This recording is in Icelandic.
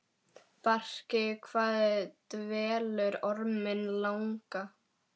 Bjarki, hvað dvelur Orminn langa?